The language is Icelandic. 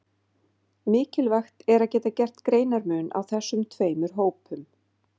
Mikilvægt er að geta gert greinarmun á þessum tveimur hópum.